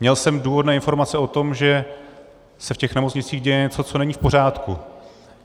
Měl jsem důvodné informace o tom, že se v těch nemocnicích děje něco, co není v pořádku.